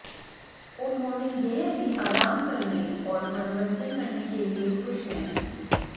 उन्होंने यह भी आराम करने और मनोरंजन करने के लिए खुश हैं